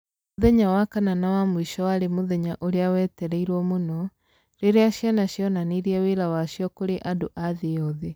Mũthenya wa kana na wa mũico warĩ mũthenya ũrĩa wetereirũo mũno, rĩrĩa ciana cionanirie wĩra wacio kũrĩ andũ a thĩ yothe.